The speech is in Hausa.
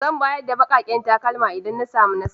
Zan bayar da bakaken takalma idan na samu nasara.